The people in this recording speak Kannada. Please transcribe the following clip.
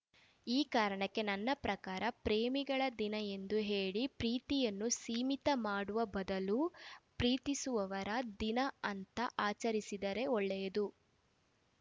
ಈ ಕಾರಣಕ್ಕೆ ನನ್ನ ಪ್ರಕಾರ ಪ್ರೇಮಿಗಳ ದಿನ ಎಂದು ಹೇಳಿ ಪ್ರೀತಿಯನ್ನು ಸೀಮಿತ ಮಾಡುವ ಬದಲು ಪ್ರೀತಿಸುವವರ ದಿನ ಅಂತ ಆಚರಿಸಿದರೆ ಒಳ್ಳೆಯದು